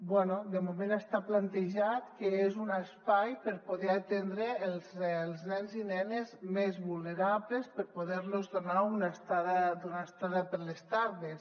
bé de moment està plantejat que és un espai per poder atendre els nens i nenes més vulnerables per poder los donar una estada per les tardes